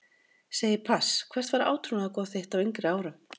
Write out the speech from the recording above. Segi pass Hvert var átrúnaðargoð þitt á yngri árum?